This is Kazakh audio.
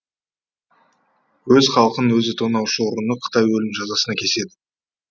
өз халқын өзі тонаушы ұрыны қытай өлім жазасына кеседі